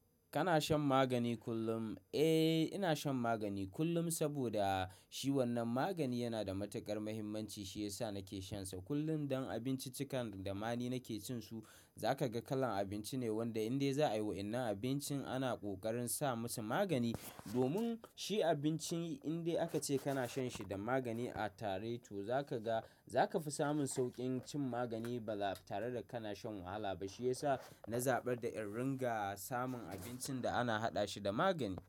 Kana shan magani kullum? Eh, ina shan magani kullum saboda shi wannan magani yana da matukar mahimmanci shiyasa nake shansa kullum don abinciccikan da mani nake cin su. Zaka ga kalan abinci ne wanda indai za'a yi, wa'innai abincin ana ƙoƙarin sa musu magani domin shi abincin indai aka ce kana shan shi da magani a tare to zaka ga, zaka fi samun sauƙin cin magani baza tare da kana shan wahala ba. Shiyasa na zaɓar da in ringa samun abincin da ana haɗa shi da magani.